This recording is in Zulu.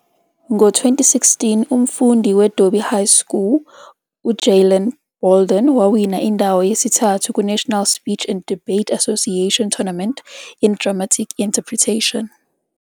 Ngo-2016, umfundi we-Dobie High School u-Jaylon Bolden wawina indawo yesithathu ku-National Speech and Debate Association Tournament in Dramatic Interpretation.